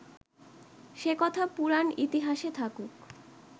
সে কথা পুরাণ ইতিহাসে থাকুক